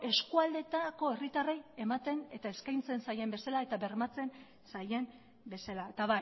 eskualdeetako herritarrei ematen eta eskaintzen zaien bezala eta bermatzen zaien bezala eta